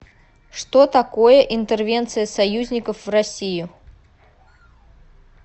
что такое интервенция союзников в россию